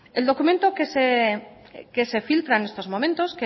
el documento que se filtra en estos momentos